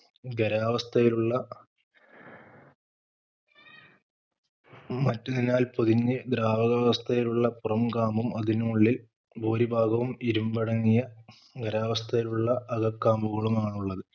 ഖരാവസ്ഥയിലുള്ള മറ്റൊരിനാൽ പൊതിഞ്ഞു ദ്രവകാവസ്ഥയിലുള്ള പുറം കാമ്പും അതിനുമുള്ളിൽ ഭൂരിഭാഗവും ഇരുമ്പടങ്ങിയ ഖരാവസ്ഥയിലുള്ള അകക്കാമ്പുകളുമാണുള്ളത്